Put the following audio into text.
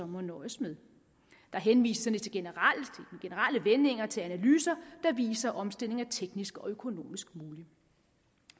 må nøjes med der henvises i generelle vendinger til analyser der viser at omstilling er teknisk og økonomisk mulig